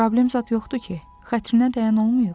Problem zad yoxdur ki, xətrinə dəyən olmayıb?